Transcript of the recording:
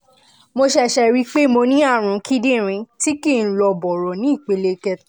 mo ṣẹ̀ṣẹ̀ ríi pé mo ní ààrùn kíndìnrín tí kìí lọ bọ̀rọ̀ ní ìpele kẹta